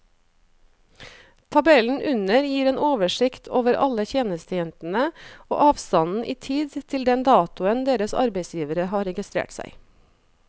Tabellen under gir en oversikt over alle tjenestejentene og avstanden i tid til den datoen deres arbeidsgivere har registrert seg.